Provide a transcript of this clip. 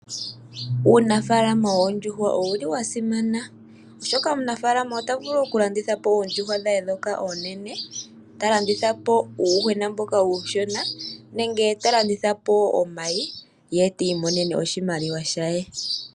Uunafaala woondjuhwa owuli wasimana oshoka omunafalama ota vulu okulandithapo oondjuhwa dhe dhoka oonene, talandithapo undjushona mboka uushona nenge talandithapo omayi ye tiimonenemo oshimaliwa she.